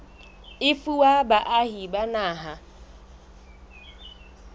e fuwa baahi ba naha